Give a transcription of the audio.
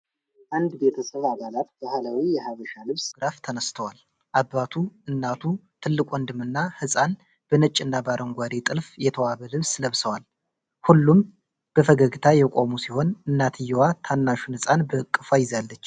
አንድ ቤተሰብ አባላት ባህላዊ የሐበሻ ልብስ ለብሰው ፎቶግራፍ ተነስተዋል። አባቱ፣ እናቱ፣ ትልቅ ወንድም እና ሕፃን በነጭና በአረንጓዴ ጥልፍ የተዋበ ልብስ ለብሰዋል። ሁሉም በፈገግታ የቆሙ ሲሆን፣ እናትየው ታናሹን ሕፃን በእቅፏ ይዛለች።